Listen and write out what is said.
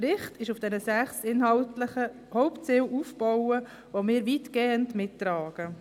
Er ist auf den 16 inhaltlichen Hauptzielen aufgebaut, die wir weitgehend mittragen.